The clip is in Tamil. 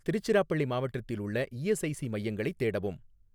திருச்சிராபள்ளி மாவட்டத்தில் உள்ள இஎஸ்ஐசி மையங்களைத் தேடவும்